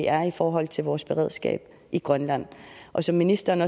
er i forhold til vores beredskab i grønland og som ministeren